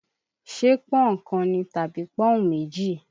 Ṣẹ́ pọ́nkan ni tàbí pọ́n-ún méjì.